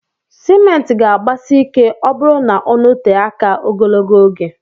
Cement ga agbasi ike ọburụ na ọnọtee aka ogologo oge.